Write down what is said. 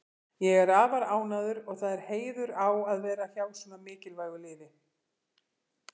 Ég er afar ánægður og það er heiður á að vera hjá svona mikilvægu liði.